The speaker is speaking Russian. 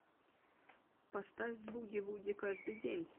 поставь буги вуги каждый день